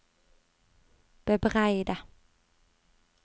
bebreide